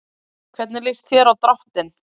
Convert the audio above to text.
Hvernig líst þér á dráttinn?